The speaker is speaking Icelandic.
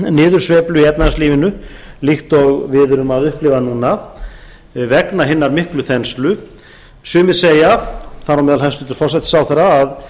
niðursveiflu í efnahagslífinu líkt og við erum að upplifa núna vegna hinnar miklu þenslu sumir segja þar á meðal hæstvirtur forsætisráðherra að